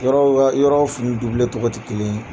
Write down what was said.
Yɔrɔ o yɔrɔw fini tɔgɔ tɛ kelen ye.